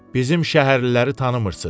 Bizim şəhərliləri tanımırsız.